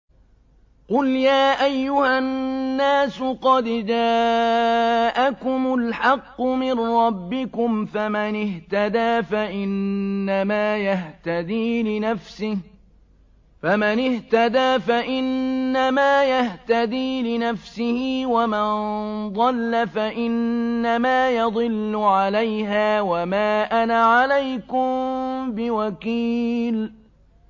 قُلْ يَا أَيُّهَا النَّاسُ قَدْ جَاءَكُمُ الْحَقُّ مِن رَّبِّكُمْ ۖ فَمَنِ اهْتَدَىٰ فَإِنَّمَا يَهْتَدِي لِنَفْسِهِ ۖ وَمَن ضَلَّ فَإِنَّمَا يَضِلُّ عَلَيْهَا ۖ وَمَا أَنَا عَلَيْكُم بِوَكِيلٍ